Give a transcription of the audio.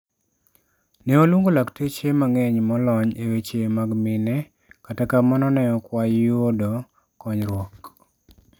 Ne waluongo lakteche mang'eny molony e weche mag mine, kata kamano neok wayuodo konyruok